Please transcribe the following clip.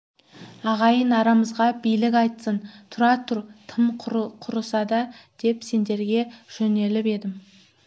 ағайын арамызға билік айтсын тұра тұр тым құрыса деп сендерге жөнеліп едім